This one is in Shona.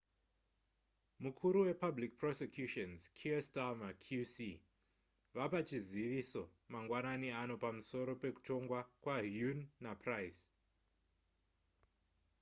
mukuru wepublic prosecutions kier starmer qc vapa chizivizo mangwanani ano pamusoro pekutongwa kwahuhne napryce